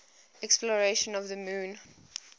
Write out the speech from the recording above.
exploration of the moon